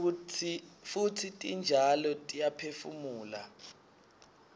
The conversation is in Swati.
futsi titjalo tiyaphefumula